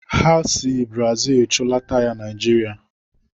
Ha si Brazil chụlata ya Naijiria.